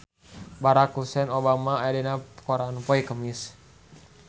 Barack Hussein Obama aya dina koran poe Kemis